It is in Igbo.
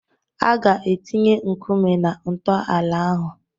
A ga-etinye nkume na-ntọala ahụ.